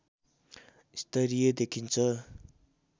स्तरीय देखिन्छ